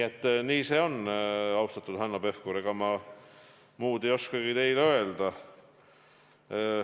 Ega ma, austatud Hanno Pevkur, muud ei oskagi teile öelda.